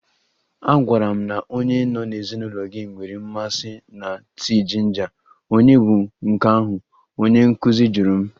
A gwara m na onye nọ n'ezinụlọ gị nwere mmasị na tii jinja, ònye bụ nke ahụ? Onye nkuzi jụrụ m.